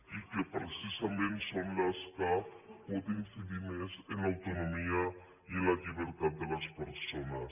i que precisament són les que poden incidir més en l’autonomia i en la llibertat de les persones